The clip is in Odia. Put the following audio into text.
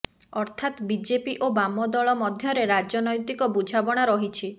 ଅର୍ଥାତ୍ ବିଜେପି ଓ ବାମ ଦଳ ମଧ୍ୟରେ ରାଜନୈତିକ ବୁଝାମଣା ରହିଛି